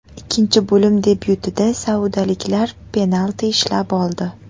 Ikkinchi bo‘lim debyutida saudiyaliklar penalti ishlab oldi.